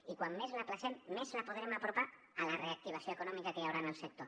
i com més l’ajornem més la podrem apropar a la reactivació econòmica que hi haurà en el sector